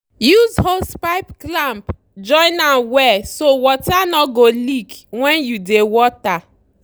use hosepipe clamp join am well so water no go leak when you dey water.